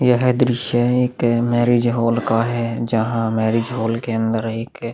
यह दृश्य एक मैरिज हॉल का है जहाँ मैरिज हॉल के अंदर एक--